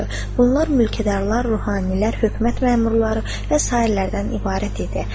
Bunlar mülkədarlar, ruhanilər, hökumət məmurları və sairələrdən ibarət idi.